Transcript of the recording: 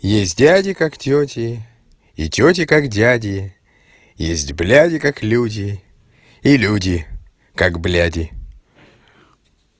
есть дяди как тёти и тёти как дяди есть бляди как люди и люди как бляди